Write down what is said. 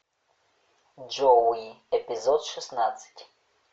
джоуи эпизод шестнадцать